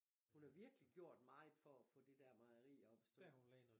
Hun har virkelig gjort meget for at få det der mejeri op at stå